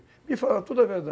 Me fala toda a verdade.